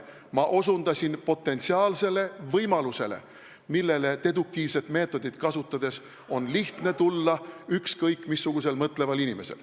Ma osutasin potentsiaalsele võimalusele, mille peale on deduktiivset meetodit kasutades lihtne tulla ükskõik missugusel mõtleval inimesel.